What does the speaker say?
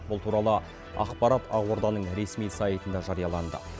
бұл туралы ақпарат ақорданың ресми сайтында жарияланды